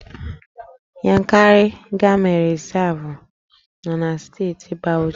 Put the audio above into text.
Yankari Game Reserve nọ na Steeti Bauchi